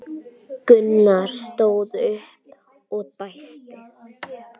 Gunnar stóð upp og dæsti.